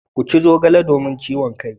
Ku ci zogale domin ciwon kai.